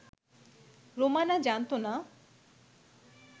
রোমানা জানতো না